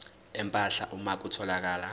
empahla uma kutholakala